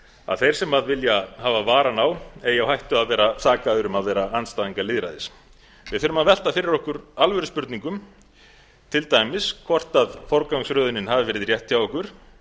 að þeir sem vilja hafa varann á eigi á hættu að vera sakaðir um að vera andstæðingar lýðræðis við þurfum að velta fyrir okkur alvöruspurningum til dæmis hvort forgangsröðunin hafi verið rétt hjá okkur